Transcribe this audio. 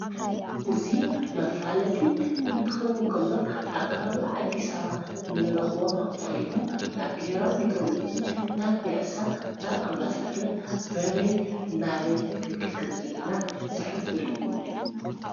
እዙ መፋለጢ እንትኸውን ከሎ ኣብ ከባባ አዲሰ አበባ እንረኽቦ ኮይኑ ናብ ቤራዊ ሜቴሮሎጅ ናብ ቤያሳ ናብ ኣምባሳደር በበይ ናበይ ክንከድከም ዘለና ዝኅብር እዩ።